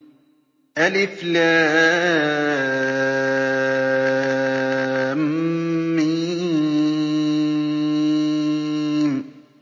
الم